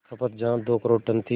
खपत जहां दो करोड़ टन थी